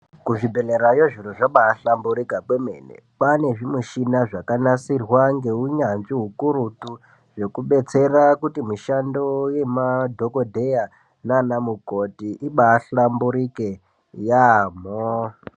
Kuzvibhedhlerayo zviro zvabaahlamburika kwemene kwane zvimichina zvakanasirwa ngeunyanzvi ukurutu zvekubetsera kuti mishando yemadhokodheya naana mukoti ibaahlamburike yaamho.